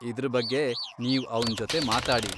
ಇದ್ರ್ ಬಗ್ಗೆ ನೀವ್ ಅವ್ನ್ ಜೊತೆ ಮಾತಾಡಿ.